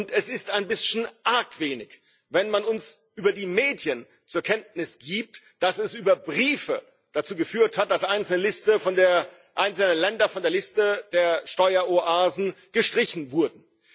Es ist ein bisschen arg wenig, wenn man uns über die Medien zur Kenntnis gibt, dass es über Briefe dazu geführt hat, dass einzelne Länder von der Liste der Steueroasen gestrichen wurden.